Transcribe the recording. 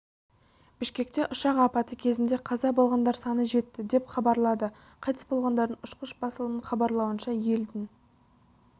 бішкекте ұшақ апаты кезінде қаза болғандар саны жетті деп хабарлады қайтыс болғандардың ұшқыш басылымның хабарлауынша елдің